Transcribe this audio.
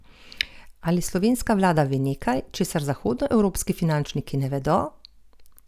Ali slovenska vlada ve nekaj, česar zahodnoevropski finančniki ne vedo?